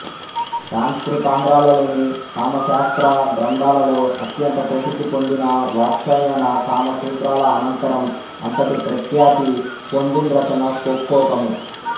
సంస్కృతాంధ్రాలలోని కామశాస్త్ర గ్రంథాలలో అత్యంత ప్రసిద్ధి పొందిన వాత్సాయన కామసూత్రాల అనంతరం అంతటి ప్రఖ్యాతి పొందింరచన కొక్కోకము